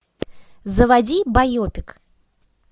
заводи байопик